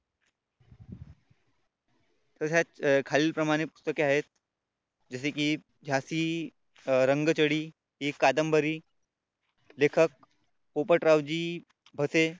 तशाच खालील प्रमाणे पुस्तके आहेत जसे की झाशी रंगचढी एक कादंबरी लेखक पोपटरावजी भसे.